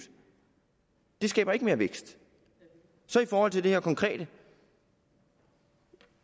det skaber jo ikke mere vækst i forhold til det her konkrete